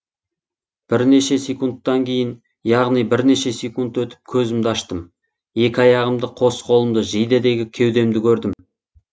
бірнеше секундтан кейін яғни бірнеше секунд өтіп көзімді аштым екі аяғымды қос қолымды жейдедегі кеудемді көрдім